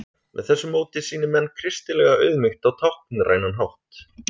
Með þessu móti sýni menn kristilega auðmýkt á táknrænan hátt.